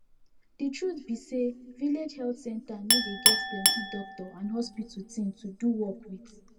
de truth be say village health center no dey get plenti doctor and hospital thing to do work with